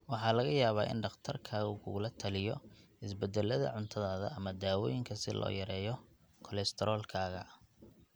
Waxa laga yaabaa in dhakhtarkaagu kugula taliyo isbedelada cuntadaada ama daawooyinka si loo yareeyo kolestaroolkaaga.